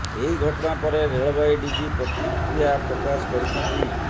ଏହି ଘଟଣା ପରେ ରେଳବାଇ ଡିଜି ପ୍ରତିକ୍ରିୟା ପ୍ରକାଶ କରିଛନ୍ତି